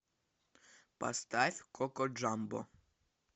поставь коко джамбо